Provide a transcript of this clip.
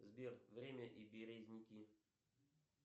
сбер время и березники